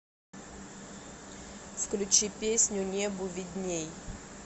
включи песню небу видней